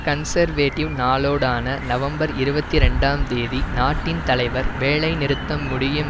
conservative நாளோடான November இருபத்தி இரண்டாம் தேதி நாட்டின் தலைவர் வேலைநிறுத்தம் முடியும்